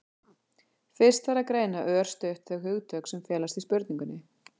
fyrst þarf að greina örstutt þau hugtök sem felast í spurningunni